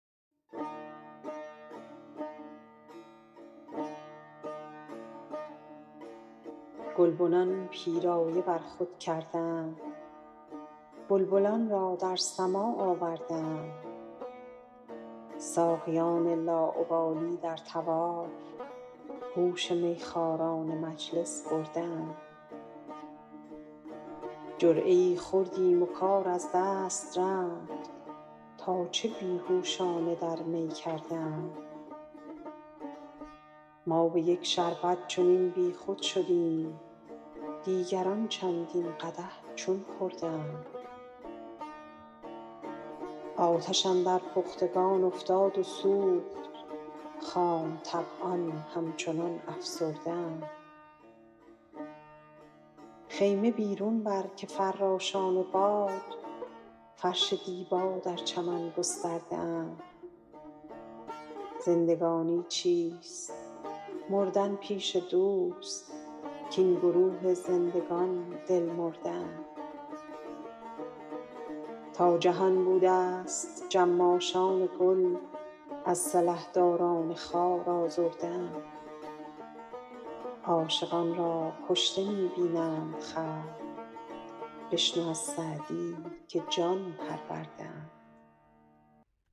گلبنان پیرایه بر خود کرده اند بلبلان را در سماع آورده اند ساقیان لاابالی در طواف هوش میخواران مجلس برده اند جرعه ای خوردیم و کار از دست رفت تا چه بی هوشانه در می کرده اند ما به یک شربت چنین بیخود شدیم دیگران چندین قدح چون خورده اند آتش اندر پختگان افتاد و سوخت خام طبعان همچنان افسرده اند خیمه بیرون بر که فراشان باد فرش دیبا در چمن گسترده اند زندگانی چیست مردن پیش دوست کاین گروه زندگان دل مرده اند تا جهان بودست جماشان گل از سلحداران خار آزرده اند عاشقان را کشته می بینند خلق بشنو از سعدی که جان پرورده اند